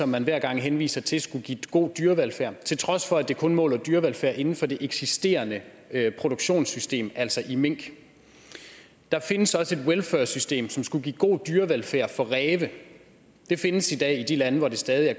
man hver gang henviser til skulle give god dyrevelfærd til trods for at det kun måler dyrevelfærd inden for det eksisterende produktionssystem altså i mink der findes også et welfursystem som skulle give god dyrevelfærd for ræve det findes i dag i de lande hvor det stadig